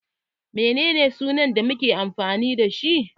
Menene sunan da make amfani dashi?